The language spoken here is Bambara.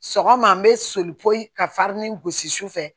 Sɔgɔma n bɛ soli ka farini gosi sufɛ